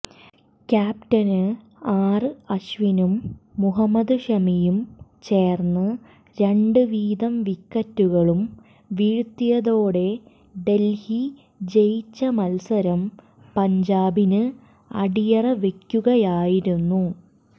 captain ആര് അശ്വിനും മുഹമ്മദ് ഷമിയും ചേര്ന്ന് രണ്ട് വീതം വിക്കറ്റുകളും വീഴ്ത്തിയതോടെ ഡല്ഹി ജയിച്ച മത്സരം പഞ്ചാബിന് അടിയറവെക്കുകയായിരുന്നു